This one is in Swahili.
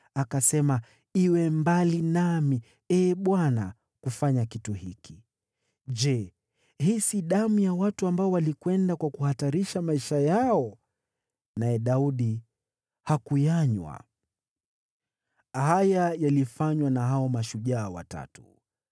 Akasema, “Iwe mbali nami, Ee Bwana , kufanya kitu hiki. Je, hii si damu ya watu ambao walikwenda kwa kuhatarisha maisha yao?” Naye Daudi hakuyanywa. Haya yalifanywa na hao mashujaa watatu.